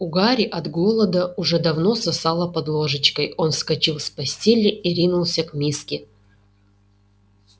у гарри от голода уже давно сосало под ложечкой он вскочил с постели и ринулся к миске